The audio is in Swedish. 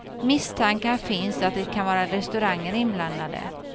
Misstankar finns att det kan vara restauranger inblandade.